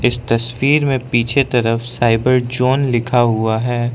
इस तस्वीर में पीछे तरफ साइबर जोन लिखा हुआ है।